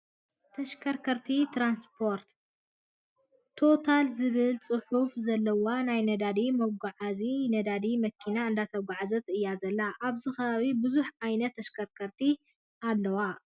ተሽከርከርቲ ትራንስፖርት፦ ቶታል ዝብል ፅሑፍ ዘለዋ ናይ ነዳዲ መጓዓዚት ነዳዲ መኪና እንዳተጓዓዓዘት እያ ዘላ። ኣብዚ ከባቢ ብዙሓት ዓይነታት ተሽከርከርቲ ኣለዋ።